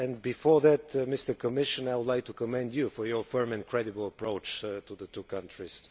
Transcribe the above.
But before that, Commissioner, I would like to commend you on your firm and credible approach to the two countries.